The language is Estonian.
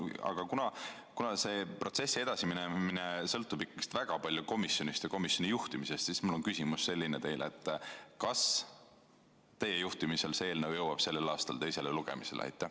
Aga kuna selle protsessi edasiminemine sõltub väga palju komisjonist ja komisjoni juhtimisest, siis mul on teile küsimus: kas teie juhtimisel see eelnõu jõuab sel aastal teisele lugemisele?